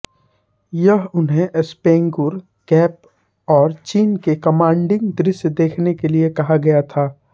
यह उन्हें स्पैगुर गैप और चीन के कमांडिंग दृश्य देने के लिए कहा गया था